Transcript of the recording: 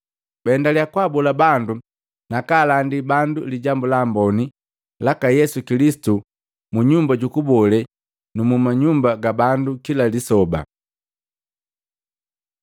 Baendaliya kwaabola bandu na kaalandi bandu Lijambu la Amboni laka Yesu Kilisitu mu nyumba jukulobe na muma nyumba ga bando kila lisoba.